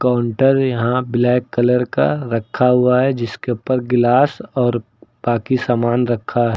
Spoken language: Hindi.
काउंटर यहां ब्लैक कलर का रखा हुआ है जिसके ऊपर गिलास और बाकी सामान रखा--